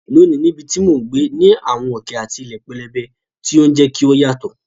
Lónìí, níbi tí mò ń gbé ní àwọn òkè àti ilẹ̀ pẹlẹbẹ, tí ó ń jẹ́ kí ó yàtọ̀.